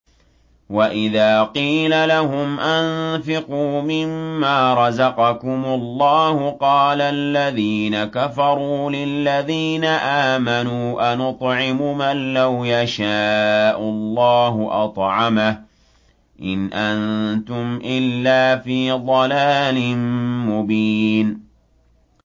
وَإِذَا قِيلَ لَهُمْ أَنفِقُوا مِمَّا رَزَقَكُمُ اللَّهُ قَالَ الَّذِينَ كَفَرُوا لِلَّذِينَ آمَنُوا أَنُطْعِمُ مَن لَّوْ يَشَاءُ اللَّهُ أَطْعَمَهُ إِنْ أَنتُمْ إِلَّا فِي ضَلَالٍ مُّبِينٍ